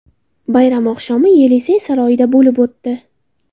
Bayram oqshomi Yelisey saroyida bo‘lib o‘tdi.